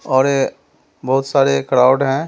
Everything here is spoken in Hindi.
और ये बहुत सारे क्राउड है।